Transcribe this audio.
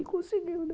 Ele conseguiu, né?